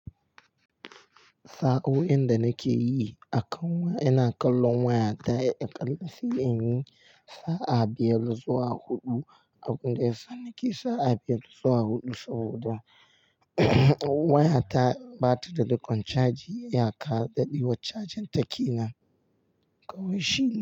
Sa'o'in da nake yi, akanwa yana kallon wayata, a ƙalla sai in yi sa'a biyar zuwa huɗu abun da ya sani ke sa'a biyar zuwa huɗu saboda wayata bata da riƙon caji iyaka daɗewar cajin take nan. Kawai shine.